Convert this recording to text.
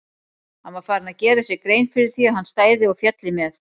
Hann var farinn að gera sér grein fyrir því að hann stæði og félli með